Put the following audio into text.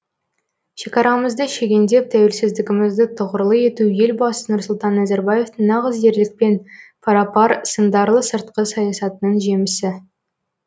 шекарамызды шегендеп тәуелсіздігімізді тұғырлы ету елбасы нұрсұлтан назарбаевтың нағыз ерлікпен пара пар сындарлы сыртқы саясатының жемісі